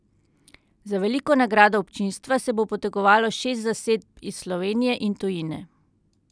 Za veliko nagrado občinstva se bo potegovalo šest zasedb iz Slovenije in tujine.